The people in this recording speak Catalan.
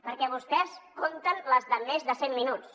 perquè vostès compten les de més de cent minuts